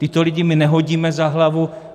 Tyto lidi my nehodíme za hlavu.